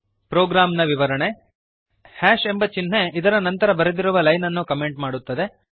program ನ ವಿವರಣೆ ಸ್ಪಷ್ಟೀಕರಣ ಎಂಬ ಚಿಹ್ನೆ ಇದರ ನಂತರ ಬರೆದಿರುವ ಲೈನ್ ಅನ್ನು ಕಮೆಂಟ್ ಮಾಡುತ್ತದೆ